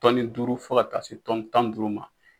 Tɔni duuru fɔ ka taa se tɔni tan ni duuru ma.